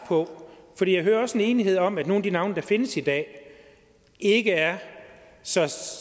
for jeg hører også en enighed om at nogle af de navne der findes i dag ikke er så